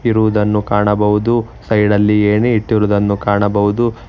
ಇರುವುದನ್ನು ಕಾಣಬಹುದು ಸೈಡಲ್ಲಿ ಏಣಿ ಇಟ್ಟಿರುವುದನ್ನು ಕಾಣಬಹುದು.